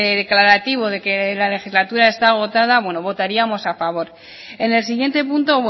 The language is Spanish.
declarativo de que la legislatura está agotada votaríamos a favor en el siguiente punto